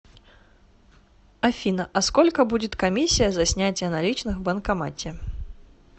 афина а сколько будет комиссия за снятие наличных в банкомате